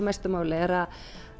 mestu máli er að